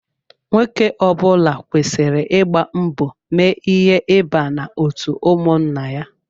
Nwoke ọbula kwesịrị ịgba mbọ mee ihe ịba n'otu ụmụnna ya.